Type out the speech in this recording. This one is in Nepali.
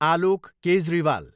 आलोक केजरीवाल